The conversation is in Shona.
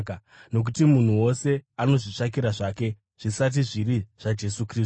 Nokuti munhu wose anozvitsvakira zvake, zvisati zviri zvaJesu Kristu.